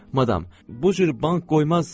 Madam, bu cür bank qoyulmaz.